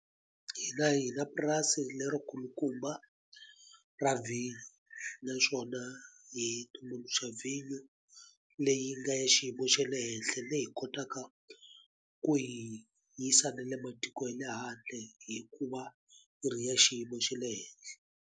Hina hi na purasi lerikulukumba ra vhinyo naswona hi tumbuluxa vhinyo leyi nga ya xiyimo xa le henhle leyi hi kotaka ku yi yisa na le matiko ye le handle hikuva yi ri ya xiyimo xa le henhla.